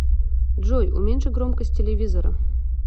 джой уменьши громкость телевизора